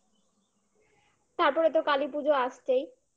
তারপরে তো কালীপুজো আসছেই?